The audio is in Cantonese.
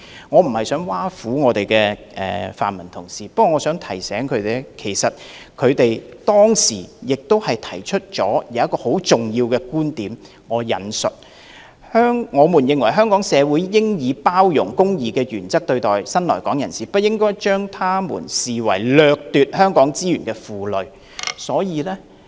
我無意挖苦泛民議員，我只是希望提醒他們，他們當時曾經提出了很重要的觀點："我們認為香港社會應以包容、公義的原則對待新來港人士，不應將他們視為掠奪香港資源的負累。